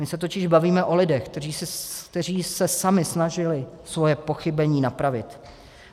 My se totiž bavíme o lidech, kteří se sami snažili svoje pochybení napravit.